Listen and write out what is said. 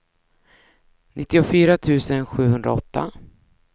nittiofyra tusen sjuhundraåtta